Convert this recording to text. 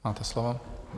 Máte slovo.